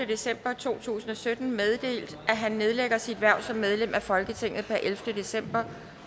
december to tusind og sytten meddelt at han nedlægger sit hverv som medlem af folketinget per ellevte december